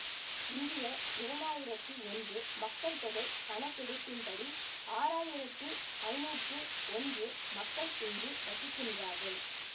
இந்திய இரண்டாயிரத்தி ஒன்று மக்கள் தொகை கணக்கெடுப்பின்படி ஆறாயிரத்து ஐநூற்று ஒன்று மக்கள் இங்கு வசிக்கின்றார்கள்